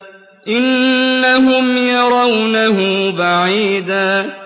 إِنَّهُمْ يَرَوْنَهُ بَعِيدًا